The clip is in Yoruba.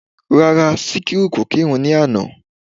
Rárá, Síkírá kò kírun ní àná